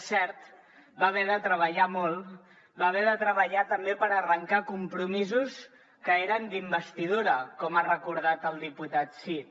és cert va haver de treballar molt va haver de treballar també per arrencar compromisos que eren d’investidura com ha recordat el diputat cid